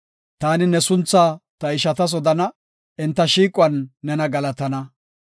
Taani ne sunthaa ta ishatas odana; enta shiiquwan nena galatana.